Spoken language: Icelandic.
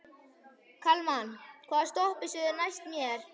Kalman, hvaða stoppistöð er næst mér?